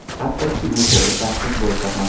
Hattoki u to‘g‘ri tanqid bo‘lsa ham.